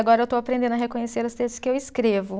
Agora eu estou aprendendo a reconhecer os textos que eu escrevo.